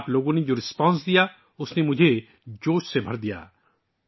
آپ لوگوں نے جو جواب دیا ہے اس نے مجھے جوش سے بھر دیا ہے